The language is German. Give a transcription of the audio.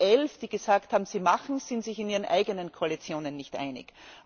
Die Elf, die gesagt haben, sie machen es, sind sich in ihren eigenen Koalitionen nicht einig.